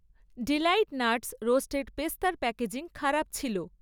Deloitte Nuts roasted পেস্তার packaging খারাপ ছিল।